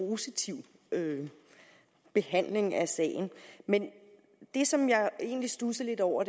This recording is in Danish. positiv behandling af sagen det som jeg egentlig studsede lidt over